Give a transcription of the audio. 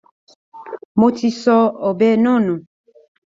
Mo ti sọ ọ̀bẹ náà nù.